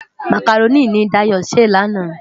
Mákáróni ni Dayo sé làná